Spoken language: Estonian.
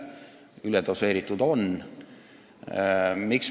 Ja üledoseeritud see on.